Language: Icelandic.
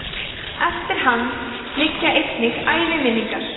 eftir hann liggja einnig æviminningar